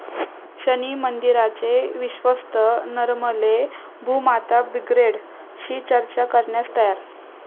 शनी मंदिराचे विश्वस्त नरमले, 'भूमाता ब्रिगेड'शी चर्चा करण्यास तयार